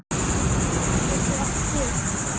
Steinn getur átt við